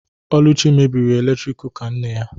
Oluchi mebiri eletrik kụka nne ya